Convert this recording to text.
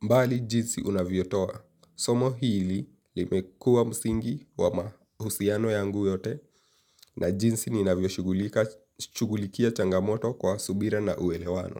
Mbali jinsi unavyotoa, somo hili limekua msingi wa mahusiano yangu yote na jinsi ninavyoshugulikia changamoto kwa subira na uelewano.